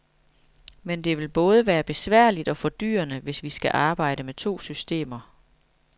Men det vil både være besværligt og fordyrende, hvis vi skal arbejde med to systemer.